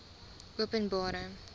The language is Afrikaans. openbare